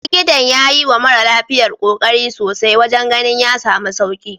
Likitan ya yiwa mara lafiyar kokari sosai wajen ganin ya samu sauki.